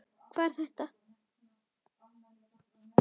Hvað er þetta!